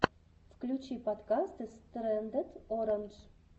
включи подкасты стрэндед орандж